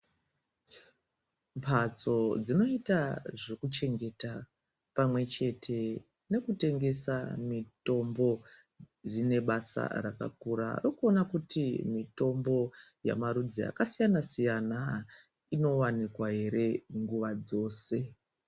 Mbatso dzinoita zvekuchengeta pamwe chete nekutengesa mitombo zvine basa rakakura rekuona kuti mitombo yemarudzi akasiyana inowanikwa here nguwa dzose.